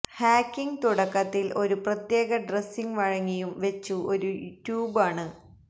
hacking തുടക്കത്തിൽ ഒരു പ്രത്യേക ഡ്രസ്സിങ് വഴങ്ങിയും വെച്ചു ഒരു ട്യൂബ് ആണ്